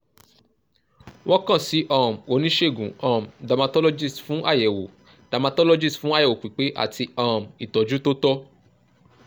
wọ́n kan si um onisegun um dermatologist fun ayẹwo dermatologist fun ayẹwo pipe ati um itọju to tọ